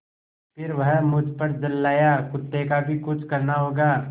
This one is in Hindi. फिर वह मुझ पर झल्लाया कुत्ते का भी कुछ करना होगा